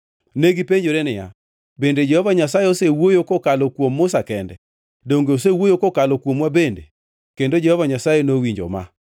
Negipenjore niya, “Bende Jehova Nyasaye osewuoyo kokalo kuom Musa kende? Donge osewuoyo kokalo kuomwa bende?” Kendo Jehova Nyasaye nowinjo ma.